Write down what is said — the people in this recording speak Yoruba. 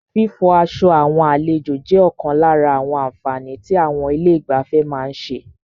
Fífọ aṣọ àwọn àlejò jẹ́ ọ̀kan lára àwọn àǹfààní tí àwọn ilé ìgbafẹ́ má ń ṣe.